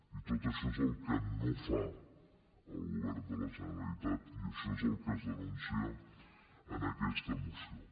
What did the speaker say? i tot això és el que no fa el govern de la generalitat i això és el que es denuncia en aquesta moció